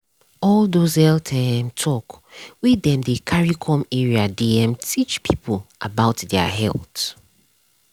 all those health um talk wey dem dey carry come area dey um teach people about their health. um